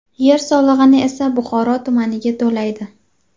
Yer solig‘ini esa Buxoro tumaniga to‘laydi.